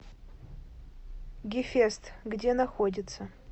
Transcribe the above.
гефест где находится